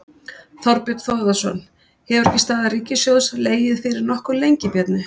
Þorbjörn Þórðarson: Hefur ekki staða ríkissjóðs legið fyrir nokkuð lengi, Bjarni?